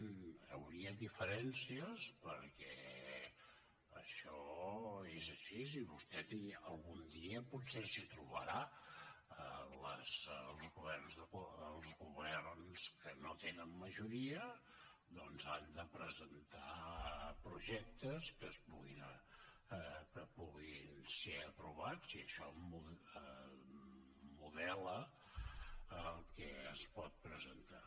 hi hauria diferències perquè això és així i vostè algun dia potser s’hi trobarà els governs que no tenen majoria han de presentar projectes que puguin ser aprovats i això modela el que es pot presentar